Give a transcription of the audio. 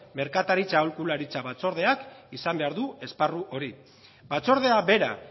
merkataritza aholkularitza batzordeak izan behar du esparru hori batzordea bera